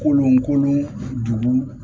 Kolon kolon dugu